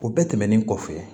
O bɛɛ tɛmɛnen kɔfɛ